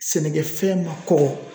Sɛnɛkɛfɛn ma kɔgɔ